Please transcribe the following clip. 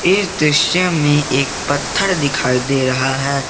इस दृश्य में एक पत्थर दिखाई दे रहा है।